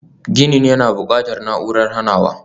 Ginin yana buƙatar na'urar hanawa.